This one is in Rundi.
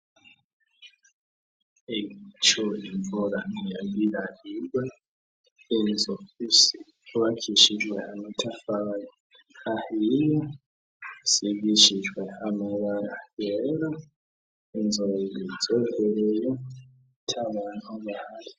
Ejo imvura yagira igwe ica inyagira inzu yubakishijwe amatafari ahiye isigishijwe amabara yera ejo nzohakorera atabantu bahari.